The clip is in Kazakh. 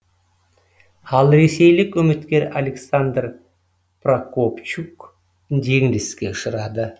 ал ресейлік үміткер александр прокопчук жеңіліске ұшырады